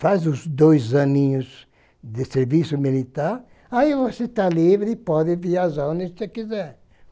Faz os dois aninhos de serviço militar, aí você tá livre e pode viajar onde você quiser.